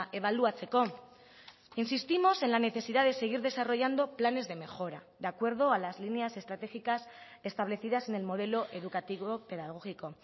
ebaluatzeko insistimos en la necesidad de seguir desarrollando planes de mejora de acuerdo a las líneas estratégicas establecidas en el modelo educativo pedagógico